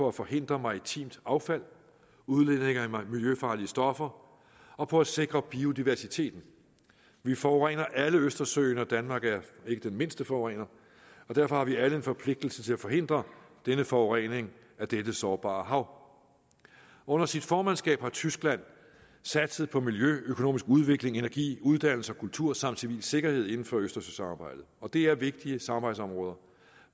at forhindre maritimt affald udledninger af miljøfarlige stoffer og på at sikre biodiversiteten vi forurener alle østersøen og danmark er ikke den mindste forurener derfor har vi alle en forpligtelse til at forhindre denne forurening af dette sårbare hav under sit formandskab har tyskland satset på miljø økonomisk udvikling energi uddannelse og kultur samt civil sikkerhed inden for østersøsamarbejdet og det er vigtige samarbejdsområder